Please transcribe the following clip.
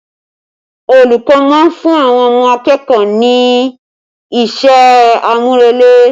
Olùkọ́ máa ń fún àwọn akẹ́kọ̀ọ́ rẹ ní iṣẹ́ àmúrelé